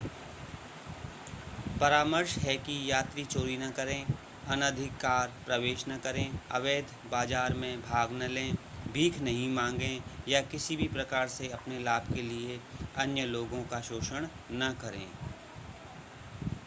परामर्श है कि यात्री चोरी न करें अनधिकार प्रवेश न करें अवैध बाजार में भाग न लें भीख नहीं मांगें या किसी भी प्रकार से अपने लाभ के लिए अन्य लोगों का शोषण न करें